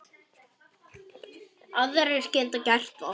Aðrir geta gert það.